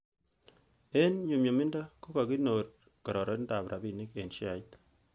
En nyumnyumindo ko kakikonor kororonindab rabinik en sheait.